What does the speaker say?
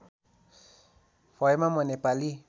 भएमा म नेपाली